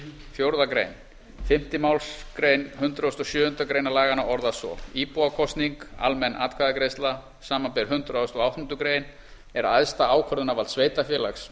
fjórða grein fimmtu málsgrein hundrað og sjöundu grein laganna orðast svo íbúakosning samanber hundrað og áttundu grein er æðsta ákvörðunarvald sveitarfélags